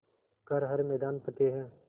कर हर मैदान फ़तेह